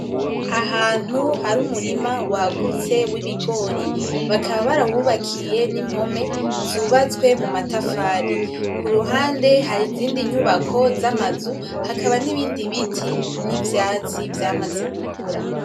Ahantu hari umurima wagutse wibigori bakaba barawubakiye n'impome zubatswe muma tafari kuruhande hari izindi nyubako zamazu hakaba n'ibindi biti n'ivyatsi vyamaze gukura.